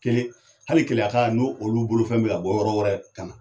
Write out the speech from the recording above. Kelen ,hali keleya ka n'o olu bolofɛn be ka bɔ yɔrɔ wɛrɛ ka na.